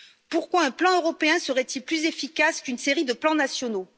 Pourquoi un plan européen serait il plus efficace qu'une série de plans nationaux?